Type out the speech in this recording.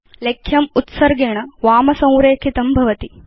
लेख्यम् उत्सर्गेण वाम संरेखितं भवति